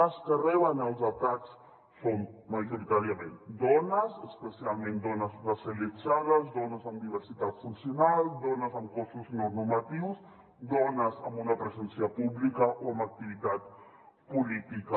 les que reben els atacs són majoritàriament dones especialment dones racialitzades dones amb diversitat funcional dones amb cossos no normatius dones amb una presència pública o amb activitat política